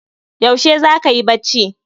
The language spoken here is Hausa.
Yaushe zaka yi bacci?